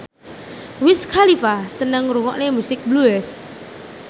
Wiz Khalifa seneng ngrungokne musik blues